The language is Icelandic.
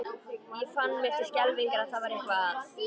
Ég fann mér til skelfingar að það var eitthvað að.